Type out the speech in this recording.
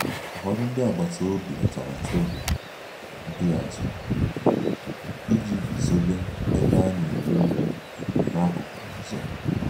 Ụfọdụ ndị agbata obi wetara tebụl mpịachi iji guzobe ebe a na-eri nri n'akụkụ ụzọ